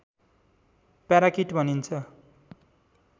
parakeet भनिन्छ